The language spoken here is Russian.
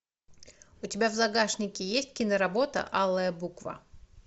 у тебя в загашнике есть киноработа алая буква